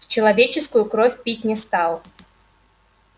человеческую кровь пить не стал